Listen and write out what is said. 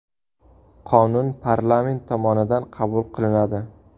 Qonun parlament tomonidan qabul qilinadi.